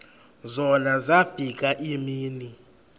zona zafika iimini